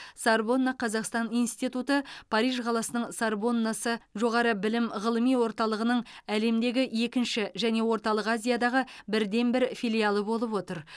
сорбонна қазақстан институты париж қаласының сорбоннасы жоғары білім ғылыми орталығының әлемдегі екінші және орталық азиядағы бірден бір филиалы болып отыр